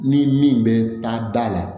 Ni min bɛ taa da la